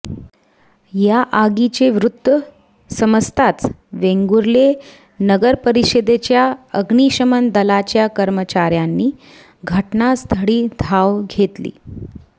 या आगीचे वृत्त समजताच वेंगुर्ले नगरपरिषदेच्या अग्निशमन दलाच्या कर्मचाऱयांनी घटनास्थळी धाव घेतली